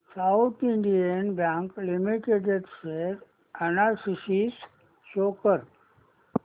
south Indian Bank Limited share analysis show कर